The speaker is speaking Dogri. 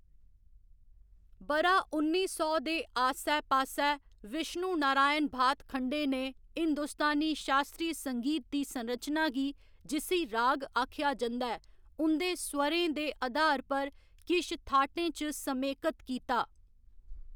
ब'रा उन्नी सौ दे आस्सै पास्सै, विश्णु नारायण भातखंडे ने हिंदुस्तानी शास्त्रीय संगीत दी संरचना गी, जिस्सी राग आखेआ जंदा ऐ, उं'दे स्वरें दे अधार पर किश थाटें च समेकत कीता।